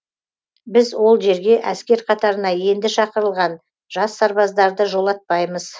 біз ол жерге әскер қатарына енді шақырылған жас сарбаздарды жолатпаймыз